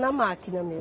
Na máquina mesmo.